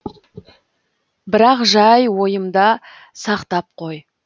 бірақ жай ойымда сақтап қой